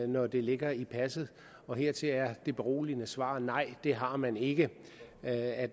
når det ligger i passet og hertil er det beroligende svar nej det har man ikke at